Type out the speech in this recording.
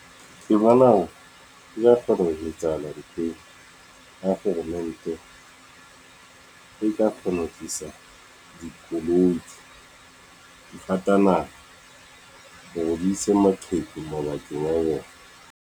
Ke bona ya kgona ho etsahala ha kgoromente e ka kgona ho tlisa dikoloi , hore di ise maqheku mabakeng a bona.